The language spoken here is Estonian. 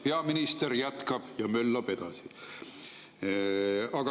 Peaminister jätkab ja möllab edasi.